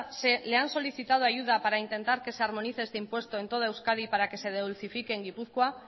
le han solicitado ayuda para intentar que se armonice este impuesto en todo euskadi para que se dulcifique en gipuzkoa